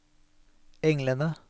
englene